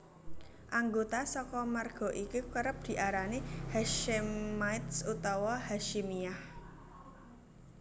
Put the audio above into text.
Anggota saka marga iki kerep diarani Hashemites utawa Hasyimiyah